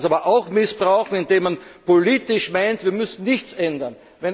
Man kann sie aber auch missbrauchen, indem man politisch meint, wir müssen nichts ändern.